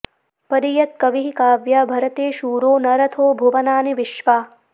परि यत्कविः काव्या भरते शूरो न रथो भुवनानि विश्वा